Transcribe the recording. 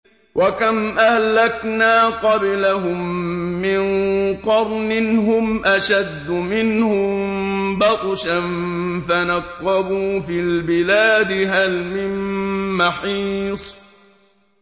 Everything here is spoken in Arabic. وَكَمْ أَهْلَكْنَا قَبْلَهُم مِّن قَرْنٍ هُمْ أَشَدُّ مِنْهُم بَطْشًا فَنَقَّبُوا فِي الْبِلَادِ هَلْ مِن مَّحِيصٍ